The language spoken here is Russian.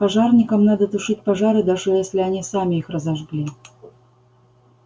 пожарникам надо тушить пожары даже если они сами их разожгли